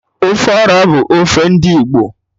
Ofe Ọra bụ ofe ndị Igbo